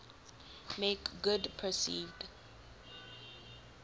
make good perceived